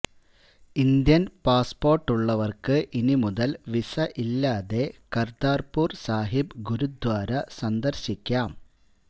Indian പാസ്പോർട്ടുള്ളവർക്ക് ഇനി മുതൽ വീസ ഇല്ലാതെ കര്താര്പുര് സാഹിബ് ഗുരുദ്വാര സന്ദർശിക്കാം